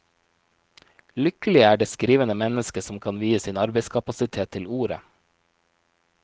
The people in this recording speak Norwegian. Lykkelig er det skrivende menneske som kan vie sin arbeidskapasitet til ordet.